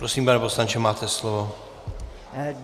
Prosím, pane poslanče, máte slovo.